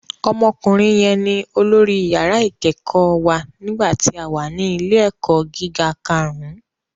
Ọmọkùnrin yẹn ní olórí yàrá ìkẹ́kọ̀ọ́ wa nígbà tí a wà ní ilé ẹ̀kọ́ gíga karùn-ún